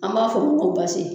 An b'a f'o ma ko basi